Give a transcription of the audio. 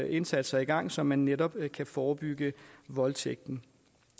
indsatser i gang så man netop kan forebygge voldtægten